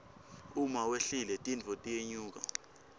uma wehlile tintfo tiyenyuka